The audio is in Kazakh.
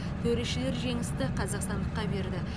төрешілер жеңісті қазақстандыққа берді